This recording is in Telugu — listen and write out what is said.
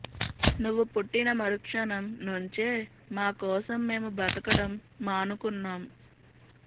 నువ్వు పుట్టిన మరుక్షణం నుంచే మా కోసం మేము బతకడం మానుకున్నాం